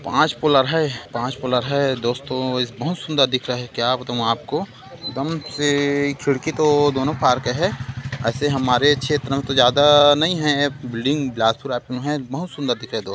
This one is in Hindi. पांच फ्लोर है पांच फ्लोर है दोस्तो इस बहोत सुन्दर दिख रहा है क्या बताऊं आपको खिड़की तो दोनो पार्क है ऐसे हमारे क्षेत्र में तो ज्यादा नही है बिल्डिंग बिलासपुर रायपुर में है बहुत सुन्दर दिख रहे दोस्त--